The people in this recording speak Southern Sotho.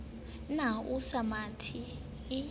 ne a sa mathe o